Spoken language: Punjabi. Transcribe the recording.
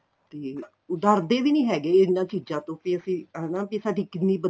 ਤੇ ਉਹ ਡਰਦੇ ਵੀ ਨਹੀਂ ਹੈਗੇ ਇਹਨਾਂ ਚੀਜ਼ਾਂ ਤੋ ਵੀ ਅਸੀਂ ਹਨਾ ਸਾਡੀ ਕਿੰਨੀ